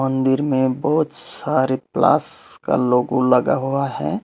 मंदिर मे बहोत सारे प्लस का लोगो लगा हुआ है।